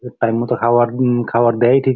time মতো খাবার উম খাবার দেয় ঠিক --